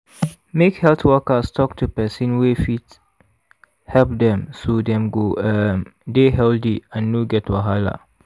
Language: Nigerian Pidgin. make health workers talk to person wey fit help dem so dem go um dey healthy and no get wahala.